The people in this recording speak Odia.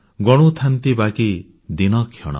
ଗଣୁଥାନ୍ତି ବାକି ଦିନକ୍ଷଣ